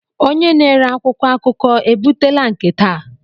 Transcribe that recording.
Onye na-ere akwụkwọ akụkọ ebutela nke taa?